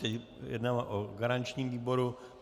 Teď jednáme o garančním výboru.